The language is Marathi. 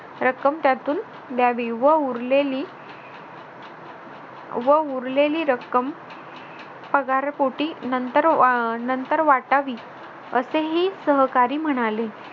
रक्कम त्यातून द्यावी व उरलेली व उरलेली रक्कम पगार पोटी नंतर वा अह नंतर वाटावी असेही सहकारी म्हणाले